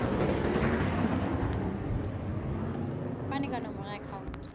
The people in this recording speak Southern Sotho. fane ka nomoro ya akhauntu